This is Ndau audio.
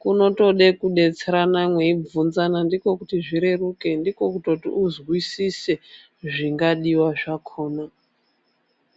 kunotode kudetserana mweivhunzana ndiko kuti zvireruke, ndiko kuti uzwisise zvingadiwa zvakona.